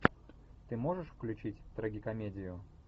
ты можешь включить трагикомедию